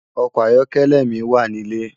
Òkò àyòkèlè mi wá nilé